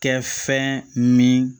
Kɛ fɛn min